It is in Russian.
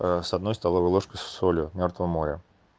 с одной столовой ложкой с солью мёртвого моря